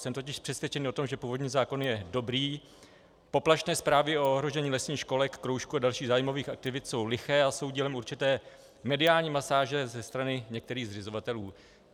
Jsem totiž přesvědčený o tom, že původní zákon je dobrý, poplašné zprávy o ohrožení lesních školek, kroužků a dalších zájmových aktivit jsou liché a jsou dílem určité mediální masáže ze strany některých zřizovatelů.